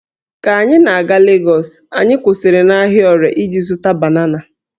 Ka anyị na-aga Legọs, anyị kwụsịrị n'ahịa Ore iji zụta banana